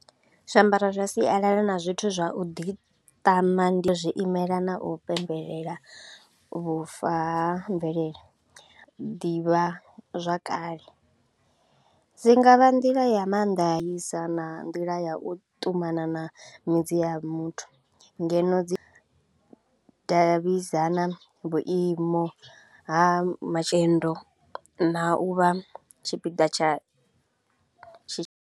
Zwiambaro zwa sialala na zwithu zwa u ḓiṱama ndi zwiimela na u pembelela vhufa ha mvelele, ḓivhazwakale. Dzi nga vha nḓila ya maanḓa i sa na nḓila ya u ṱumana na midzi ya muthu, ngeno dzi davhidzana vhuimo ha na u vha tshipiḓa tsha tshi.